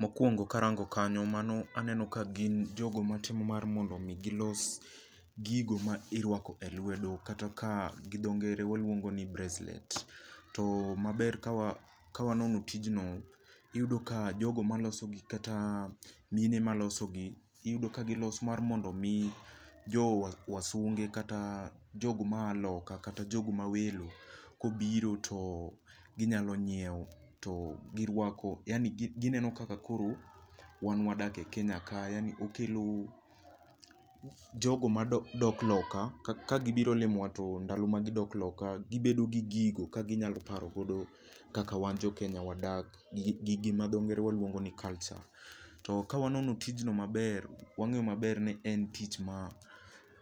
Mokwongo karango kanyo mano aneno ka gin jogo matimo mar mondo mi gilos gigo ma irwako e lwedo kata ka gi dho ngere waluongo ni bracelets. To maber kawanono tijno iyudo ka jogo maloso gi kata mine maloso gi iyudo ka giloso mar mondo mi jo wasunge kata jogo ma a loka kata jogo ma welo kobiro to ginyalo nyiew to girwako. Yani gineno kaka koro wan wadak e Kenya ka. Yani okelo jogo madok loka kagibiro lomowa to ndalo ma gidok loka gibedo gi gigo kaginyalo parogodo kaka wan jo Kenya wadak. Gima gi dho ngere waluongo ni culture. To ka wanono tijno maber wang'eyo maber ni en tich ma